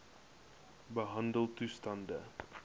behandeltoestande